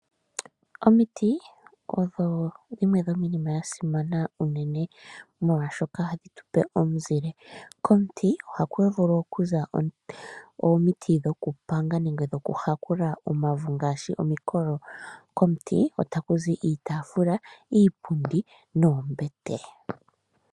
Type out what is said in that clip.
Omiti odho dhimwe dhominima yasimana uunene molwashoka ohadhi tupe omuzile. Komuti ohaku vulu okuza omuti gokupanga nenge dhokuhakula omauvu ngaashi gomukolo. Komuti otaku zi iitaafula, iipundi noombete.